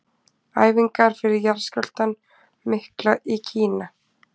Æfingar fyrir jarðskjálftann mikla í Kína.